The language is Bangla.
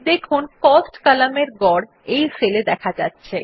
দেখুন কস্ট কলামের গড় এই সেল এ দেখা যাচ্ছে